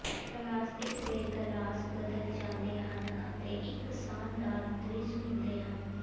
plastic ਦੇ glass ਬਦਲ ਜਾਂਦੇ ਹਨ ਅਤੇ ਇੱਕ ਸ਼ਾਨਦਾਰ ਦ੍ਰਿਸ਼ ਹੁੰਦੇ ਹਨ